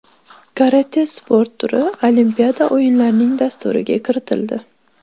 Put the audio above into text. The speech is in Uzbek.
Karate sport turi Olimpiada o‘yinlarining dasturiga kiritildi.